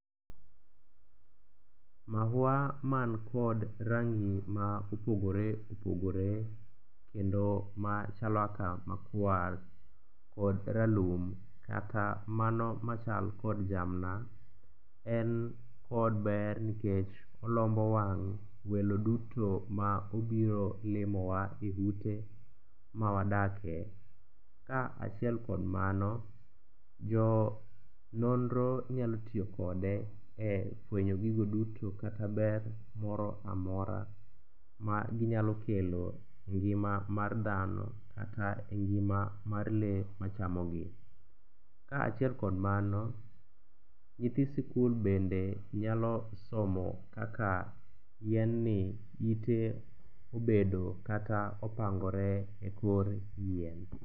Maua mankod rangi ma opogore opogore kendo ma chalo aka makwar kod ralum kata mano machal kod jamna en kod ber nkech olombo wang' welo duto ma obiro limowa e ute mawadakie, kaachiel kod mano, jo nonro nyalo tiyo kode e fwenyo gigo duto kata ber moro amora maginyalo kelo e ngima mar dhano kata e ngima mar lee machamogi. Kaachiel kod mano, nyithi sikul bende nyalo somo kaka yien ni ite obedo kata opangore e kor yien.